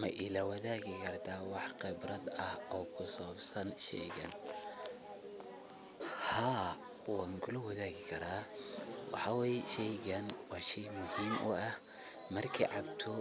Ma ilawadaagi karta wax qibrad ah oo kusabsan sheygan, haa wan kulawadagi karaa waxa way sheygan wa shey muxiim u ah markad cabto